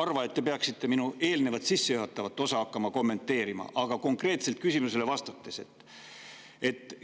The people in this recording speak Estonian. arva, et te peaksite minu eelnevat, sissejuhatavat osa kommenteerima hakkama, vaid küsimusele konkreetset vastust.